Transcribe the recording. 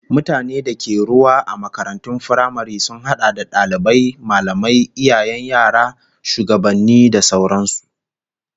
Mutanen da ke da ruwa a makarantun firamare sun hada da dalibai, mallamai, iyayen yara, shugabanni da sauran su